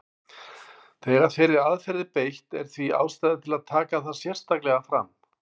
Þegar þeirri aðferð er beitt er því ástæða til að taka það sérstaklega fram.